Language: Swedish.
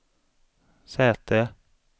säte